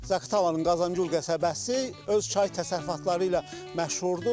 Zaqatalanın Qazan Gül qəsəbəsi öz çay təsərrüfatları ilə məşhurdur.